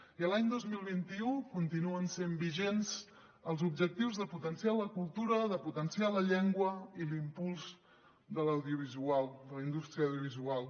i l’any dos mil vint u continuen sent vigents els objectius de potenciar la cultura de potenciar la llengua i l’impuls de la indústria audiovisual